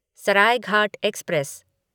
Saraighat express